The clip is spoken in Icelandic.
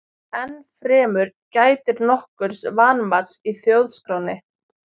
Enn fremur gætir nokkurs vanmats í Þjóðskránni.